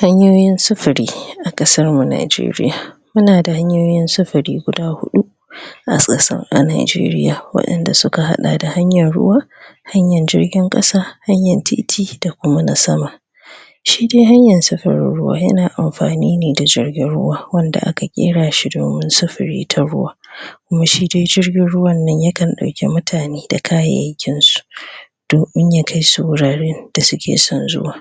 Hanyoyin sufuri a ƙasarmu Najeriya muna da hanyoyin sufuri guda huɗa a sassan a Najeriya waɗanda suka haɗa da hanyar ruwa hanyar jirgin ƙasa hanyar titi da kuma na sama shi dai hanyar sufurin ruwa yana amfani ne da jirgin ruwa wanda aka ƙera shi domin sufuri ta ruwa huh kuma shi dai jirgin ruwan nan ya kan ɗauki mutane da kayayyakinsu domin ya kai su wuraren da suke son zuwa